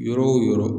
Yɔrɔ o yɔrɔ